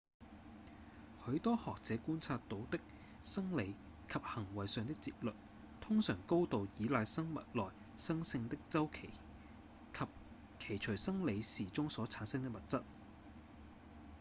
許多學者觀察到的生理及行為上的節律通常高度倚賴生物內生性的週期及其隨生理時鐘所產生的物質